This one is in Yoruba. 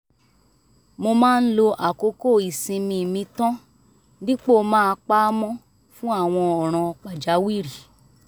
mo máa ń lo àkókò ìsinmi mi tàn dípò máa pa á mọ́ fún àwọn ọ̀ràn pàjáwìrì